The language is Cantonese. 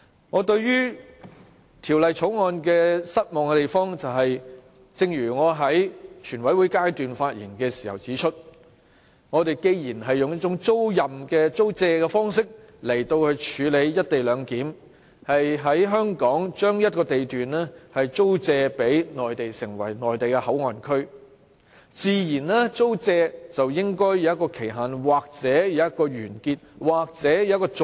我對《條例草案》感到失望的地方，正如我在全委會階段發言時指出，我們既然用一種"租借"方式來處理"一地兩檢"，將香港一個地段租借予內地作為內地口岸區，那麼，自然應該訂有租借期限或者約滿或續約安排。